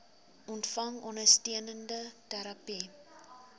ontvang ondersteunende terapie